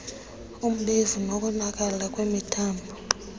umbefu nokonakala kwemithambo